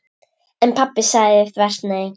En pabbi sagði þvert nei.